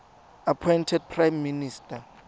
appointed prime minister